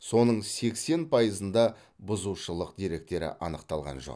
соның сексен пайызында бұзушылық деректері анықталған жоқ